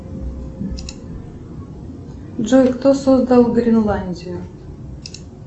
джой кто создал гренландию